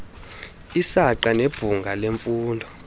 isaqa nebhunga lemfundo